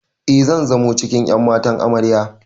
E, zan zamo cikin ƴan matan Amarya.